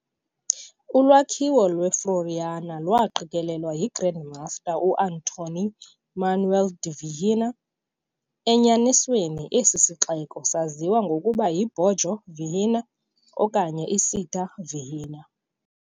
Ulwakhiwo lweFloriana, lwaqikelelwa yiGrand Master u-Antoine Manoel De Vilhena, enyanisweni esi sixeko saziwa ngokuba yi-'Borgo Vilhena' okanye 'Città Vilhena'.